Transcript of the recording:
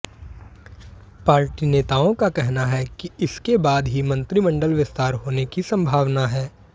party नेताओं का कहना है कि इसके बाद ही मंत्रिमंडल विस्तार होने की संभावना है